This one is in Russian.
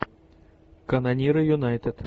канониры юнайтед